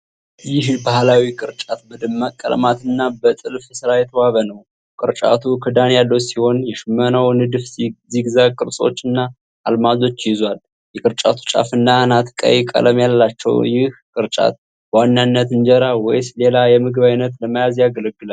ይህ ባህላዊ ቅርጫት በደማቅ ቀለማት እና በጥልፍ ሥራ የተዋበ ነው። ቅርጫቱ ክዳን ያለው ሲሆን፣ የሽመናው ንድፍ ዚግዛግ ቅርጾችና አልማዞች ይዟል። የቅርጫቱ ጫፍና አናት ቀይ ቀለም አላቸው። ይህ ቅርጫት በዋናነት እንጀራ ወይስ ሌላ የምግብ ዓይነት ለመያዝ ያገለግላል?